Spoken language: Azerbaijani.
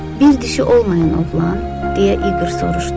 Bir dişi olmayan oğlan, deyə İqır soruşdu.